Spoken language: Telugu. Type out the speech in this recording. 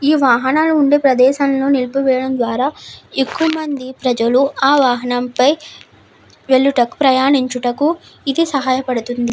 వాహనాలు ఉండే ప్రదేశం నిల్పి వేయడం ద్వారా ఎక్కువమంది ప్రజలు ఆ వాహనాలపై వెళ్తుటకు ప్రయాణించేటకు ఇది సహాయం చేస్తుంది.